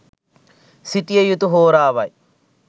සිටිය යුතු හෝරාවයි.